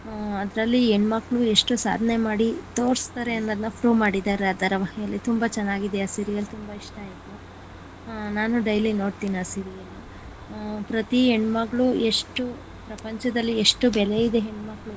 ಹು ಅದರಲ್ಲಿ ಹೆಣ್ಣು ಮಕ್ಕಳು ಎಷ್ಟು ಸಾಧನೆ ಮಾಡಿ ತೋರಸ್ತರೇ ಅನ್ನೋದನ್ನ prove ಮಾಡಿದ್ದಾರೆ ಆ ಧಾರವಹಿಯಲ್ಲಿ ತುಂಬ ಚೆನ್ನಾಗಿದೆ ಆ serial ತುಂಬಾ ಇಷ್ಟ ಆಯ್ತು ನಾನು daily ನೋಡ್ತೀನಿ ಆ serial ಪ್ರತಿ ಹೆಣ್ಣಮಕ್ಕಳು ಎಷ್ಟು ಪ್ರಪಂಚದಲ್ಲಿ ಎಷ್ಟು ಬೆಲೆ ಇದೆ ಹೆಣ್ಮಕ್ಕಳಿಗೆ .